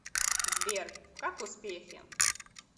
сбер как успехи